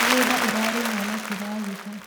mĩgũnda ĩrarĩmwo na kĩragita